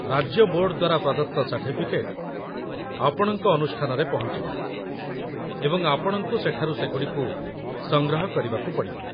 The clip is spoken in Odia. ରାଜ୍ୟ ବୋର୍ଡ ଦ୍ୱାରା ପ୍ରଦତ୍ତ ସାର୍ଟିଫିକେଟ୍ ଆପଣଙ୍କ ଅନୁଷ୍ଠାନରେ ପହଞ୍ଚିବ, ଏବଂ ଆପଣଙ୍କୁ ସେଠାରୁ ସେଗୁଡ଼ିକୁ ସଂଗ୍ରହ କରିବାକୁ ପଡ଼ିବ